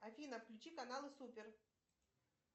афина включи каналы супер